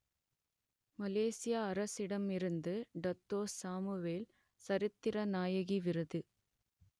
மலேசிய அரசிடம் இருந்து டத்தோ சாமுவேல் சரித்திர நாயகி விருது